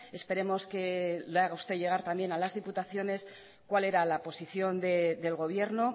esperemos que le haga usted llevar también a las diputaciones cuál era la posición del gobierno